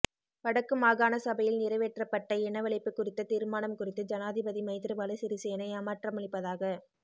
வடக்கு மாகாணசபையில் நிறைவேற்றப்பட்ட இனவழிப்பு குறித்த தீர்மானம் குறித்து ஜனாதிபதி மைத்திரிபால சிறிசேன ஏமாற்றமளிப்பதாக